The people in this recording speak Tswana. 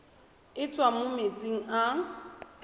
e tswang mo metsing a